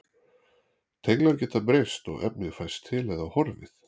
Tenglar geta breyst og efnið færst til eða horfið.